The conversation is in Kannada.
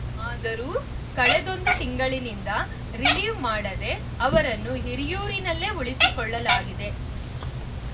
ಆದರೂ ಕಳೆದೊಂದು ತಿಂಗಳಿಂದ ರಿಲೀವ್‌ ಮಾಡದೆ ಅವರನ್ನು ಹಿರಿಯೂರಿನಲ್ಲೇ ಉಳಿಸಿಕೊಳ್ಳಲಾಗಿದೆ